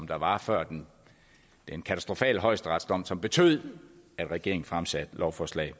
der var før den katastrofale højesteretsdom som betød at regeringen fremsatte lovforslag